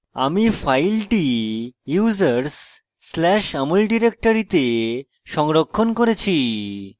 আমি file users\amol ডিরেক্টরিতে সংরক্ষণ করেছি